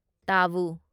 ꯇꯥꯕꯨ